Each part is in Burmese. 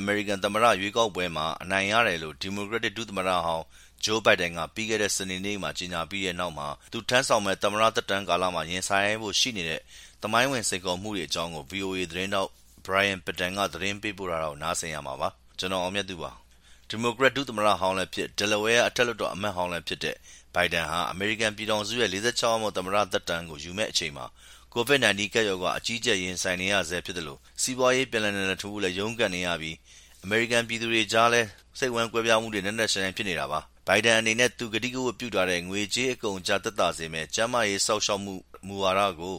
အမေရိကန် သမ္မတရွေးကောက်ပွဲမှာ အနိုင်ရတယ်လို့ ဒီမိုကရက် ဒုသမ္မတဟောင်း Joe Biden က ပြီးခဲ့တဲ့ စနေနေ့မှာ ကြေညာခဲ့ပြီးတဲ့နောက် သူထမ်းဆောင်မယ့် သမ္မတ သက်တမ်းကာလ ရင်ဆိုင်ရဖို့ ရှိနေတဲ့ သမိုင်းဝင် စိန်ခေါ်မှုတွေအကြောင်း ဗွီအိုအေ သတင်းထောက် Brian Padden သတင်းပေးပို့ထားတာကို ကို အောင်မြတ်သူက ပြောပြမှာပါ။ ဒီမိုကရက် ဒုသမ္မတဟောင်းလည်းဖြစ် ၊ Delaware အထက်လွှတ်တော်အမတ်ဟောင်းလည်းဖြစ်တဲ့ Biden ဟာ အမေရိကန်ပြည်ထောင်စုရဲ့ ၄၆ယောက်မြောက် သမ္မတသက်တမ်းကို ယူမယ့်အချိန်မှာ ကိုဗစ်-၁၉ကပ်ရောဂါ အကြီးအကျယ်ရင်ဆိုင်နေရဆဲဖြစ်သလို၊ စီးပွားရေး ပြန်လည်နလံထူဖို့ ရုန်းကန်နေရပြီး၊ အမေရိကန်ပြည်သူတွေကြားမှာလည်း ကွဲပြားမှုတွေ နက်နက်ရှိုင်းရှိုင်းဖြစ်နေတာပါ။ ဘိုင်ဒန်အနေနဲ့ သူကတိကဝတ်ပြုထားတဲ့ ငွေကြေးအကုန်အကျသက်သာစေမယ့် ကျန်းမာရေး စောင့်ရှောက်မှုမူဝါဒကို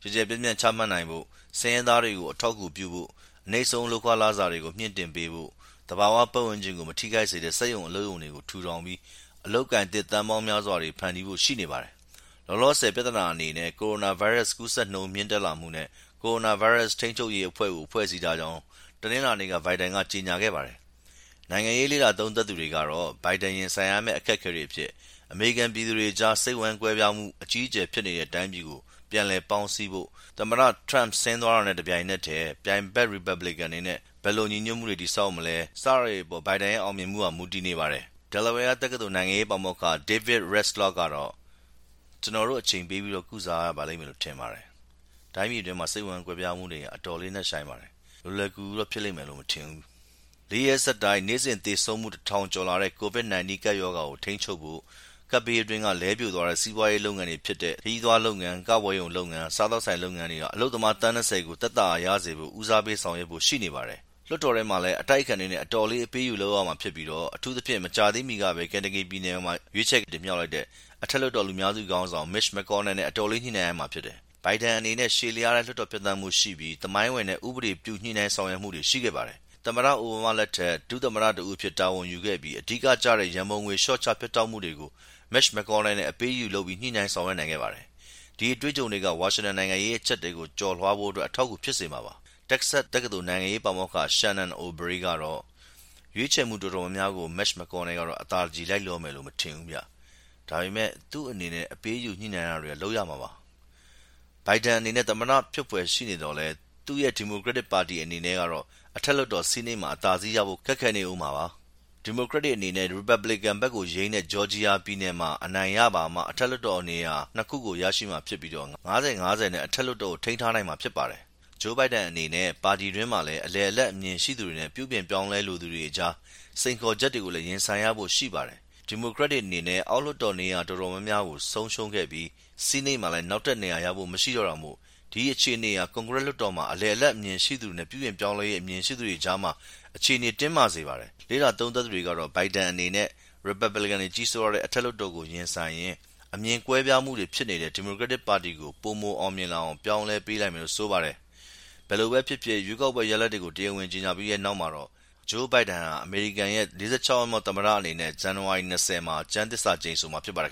ကျယ်ကျယ်ပြန့်ပြန့် ချမှတ်နိုင်ဖို့၊ ဆင်းရဲသားတွေကို အထောက်အကူပြုဖို့၊ အနိမ့်ဆုံး လုပ်ခလစာတွေကို မြှင့်တင်ပေးဖို့၊ သဘာဝပတ်ဝန်းကျင်ကို မထိခိုက်စေတဲ့ စက်ရုံအလုပ်တွေကို ထူထောင်ပြီး အလုပ်အကိုင်သစ် သန်းပေါင်းများစွာဖန်တီးဖို့တွေ ရှိနေပါတယ်။ လက်တလောပြဿနာအနေနဲ့ ကိုရိုနာဗိုင်းရပ်စ် ကူးစက်နှုန်း မြင့်တက်လာမှုနဲ့ကိုရိုနာဗိုင်းရပ်စ်ထိန်းချုပ်ရေးအဖွဲ့ကို ဖွဲ့စည်းထားကြောင်း တနင်္လာနေ့မှာ ဂျိုးဘိုင်ဒန်က ကြေညာခဲ့ပါတယ်။ နိုင်ငံရေးလေ့လာသုံးသပ်သူတွေကတော့ ဘိုင်ဒန်ရင်ဆိုင်ရမယ့် အခက်အခဲတွေအဖြစ် အမေရိကန်ပြည်သူတွေကြား စိတ်ဝမ်းကွဲပြားမှု အကြီးအကျယ်ဖြစ်နေတဲ့ တိုင်းပြည်ကို ပြန်လည် ပေါင်းစည်းဖို့၊ သမ္မတ Trump ဆင်းသွားတာနဲ့တပြိုင်နက်ထဲ ပြိုင်ဘက် ရီပက်ဘလစ်ကန်တွေနဲ့ ဘယ်လို ညီညွတ်မှုတွေရှိမလဲ စတာတွေကို ဘယ်လိုဆောင်ရွက်မလဲဆိုတဲ့ အပေါ်ဘိုင်ဒန်ရဲ့ အောင်မြင်မှုဟာ မူတည်နေပါတယ် လို့ဆိုပါတယ်။ Delaware တက္ကသိုလ် နိုင်ငံရေးပါမောက္ခ David Redlawsk ကတော့ “ကျနော်တို့ အချိန်ပေးပြီး ကုစားကြရလိမ့်မယ်လို့ထင်ပါတယ်။ တိုင်းပြည်တွင်းစိတ်ဝမ်းကွဲပြားမှုဟာ အတော်လေးနက်ရှိုင်းပါတယ်။ လွယ်လွယ်ကူကူတော့ ဖြစ်လိမ့်မယ်မထင်ဘူး”။ လေးရက်ဆက်တိုက်နေ့စဉ်သေဆုံးမှု တထောင်ကျော်လာတဲ့ COVID-19 ကပ်ရောဂါကို ထိန်းချုပ်ဖို့၊ ကပ်ဘေးအတွင်း ပြိုလဲသွားတဲ့ စီးပွားရေလုပ်ငန်းတွေဖြစ်တဲ့ ခရီးသွားလုပ်ငန်း၊ ကပွဲရုံလုပ်ငန်းနဲ့ စားသောကဆိုင်လုပ်ငန်းတွေက အလုပ်သမား သန်း ၂၀ ကို သက်သာရာရစေဖို့ ဦးစားပေးဆောင်ရွက်ဖို့ရှိနေပါတယ်။ လွှတ်တောထဲမှာလည်း အတိုက်အခံတွေနဲ့လည်း အတော်လေး အပေးအယူလုပ်ရမှာဖြစ်ပြီး အထူးသဖြင့် မကြာသေးမီကပဲ Kentucky ပြည်နယ် အထက်လွှတ်တော် လူများစုခေါင်းဆောင် Mitch McConnell နဲ့ အတော်လေး ညှိနိုင်းရမှာပါ ။ ဘိုင်ဒန်အနေနဲ့ ရှည်လျားတဲ့ လွှတ်တော်ဖြတ်သန်းမှုရှိပြီး သမိုင်းဝင်တဲ့ ဥပဒေပြု ညှိနိုင်းဆောင်ရွက်မှုတွေရှိခဲ့ပါတယ်။ သမ္မတ အိုဗားမာ လက်ထက် ဒုသမတတဦးအဖြစ်တာဝန်ယူခဲ့ပြီး အဓိကျတဲ့ ရန်ပုံငွေလျော့ချဖြတ်တောက်မှုတွေကို Mitch McConnel နဲ့အပေးအယူ ညှိနိုင်းလုပ်ဆောင်နိုင်ခဲ့ပါတယ်။ ဒီအတွေ့အကြုံတွေကဝါရှင်တန်နိုင်ငံရေးအကြပ်အတည်းကို ကျော်လွှားနိုင်ဖို့အထောက်အကူဖြစ်စေမှာပါ။ တက္ကဆတ်တက္ကသိုယ်က နိုင်ငံရေးပါမောက္ခ Shannon O’ Brie ကတော့ “ရွေးချက်မှုတော်တော်များများကို McConnell ကတော့ အသာတကြည် လိုက်လျောမယ်မထင်ဘူး။ ဒါပေမယ့် သူ့အနေနဲ့ အပေးအယူ ညှိုနိုင်းတာတွေ လုပ်ရမှာပါ။” ဂျိုးဘိုင်ဒန်အနေနဲ့ သမ္မတဖြစ်ဖွယ်ရှိနေသော်လည်း သူရဲ့ ဒီမိုကရက်တစ်ပါတီအနေနဲ့တော့ အထက်လွှတ်တော် Senate မှာ အသာစီးရဖို့ ခက်ခဲနေဦးမှာပါ၊ ဒီမိုကရက်တွေအနေနဲ့ ရီပက်ဘလီကန် ဘက်ကို ယိမ်းတဲ့ဂျော်ဂျီယာပြည်နယ်မှာ အနိုင်ရပါမှ အထက်လွှတ်တော် အမတ်နေရာ ၂ ခုကို ရမှာဖြစ်ပြီး ၅၀-၅၀ နဲ့ အထက်လွှွတ်တော် ကို ထိန်းထားနိုင်မှာဖြစ်ပါတယ်။ ဂျိုုးဘိုင်ဒန်အနေနဲ့ ပါတီတွင်းမှာလည်း အလယ်အလတ်အမြင်ရှိသူတွေနဲ့ ပြုပြင်ပြောင်းလဲ လိုသူတွေအကြား စိန်ခေါ်ချက်တွေကိုလည်း ရင်ဆိုင်ရဖို့ရှိပါတယ်။ ဒီမိုကရက်တွေအနေနဲ့ အောက်လွှတ်တော်နေရာ အတော်များများကို ဆုံးရှုံးခဲ့ပြီး Senate မှာလည်း နောက်ထပ် နေရာရဖို့မရှိတော့တာမို့ ဒီအခြေအနေဟာ ကွန်ဂရက်လွတ်တော်မှာ အလယ်အလတ်အမြင်ရှိသူတွေနဲ့ ပြုပြင်ပြောင်းလည်းရေး အမြင်ရှိသူတွေကြားမှာ အခြေအနေတင်းမာစေပါတယ်။ လေ့လာသုံးသပ်သူတွေကတော့ ဘိုင်ဒန်အနေနဲ့ Republican တွေကြီးစိုးထားတဲ့ အထက်လွှတ်တော် ကို ရင်ဆိုင်ရင်း အမြင်ကွဲပြားမှုတွေဖြစ်နေတဲ့ ဒီမိုကရက်တစ်ပါတီကို ပိုမိုအောင်မြင်လာအောင် ပြောင်းလဲပေးနိုင်မယ်လို့ ဆိုပါတယ်။ ဘယ်လိုပဲဖြစ်ဖြစ် ရွေးကောက်ပွဲရလဒ်တွေကို တရားဝင်ကြေညာပြီးနောက်မှာတော့ ဂျိုးဘိုင်ဒန် ဟာ အမေရိကန်ရဲ့ ၄၆ ယောက်မြောက် သမ္မတအနေနဲ့ ဇန်နဝါရီ ၂၀ မှာ ကျမ်းသစ္စာ ကျိမ်ဆိုမှာဖြစ်ပါတယ်